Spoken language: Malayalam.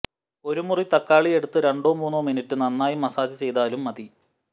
ഒരു മുറി തക്കാളി എടുത്ത് രണ്ടോ മൂന്നോ മിനിറ്റ് നന്നായോ മസ്സാജ് ചെയ്താലും മതി